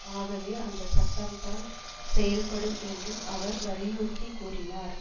ஆகவே அந்த சட்டம் தான் செயல்படும் என்றும் அவர் வலியுறுத்தி கூறினார்